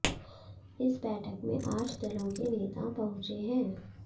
इस बैठक में आठ दलों के नेता पहुंचे हैं